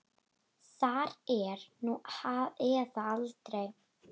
Það er nú eða aldrei.